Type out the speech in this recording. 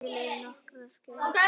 Til eru nokkrar gerðir skema.